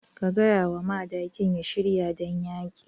Ka gaya wa madakin ya shirya don yaƙi.